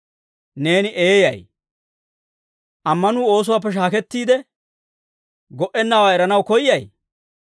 Neeni eeyay! Ammanuu oosuwaappe shaakettiide go"ennawaa eranaw koyyay?